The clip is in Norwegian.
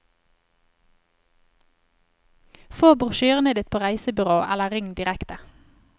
Få brosjyrene på ditt reisebyrå eller ring direkte.